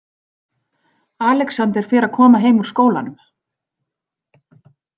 Alexander fer að koma heim úr skólanum.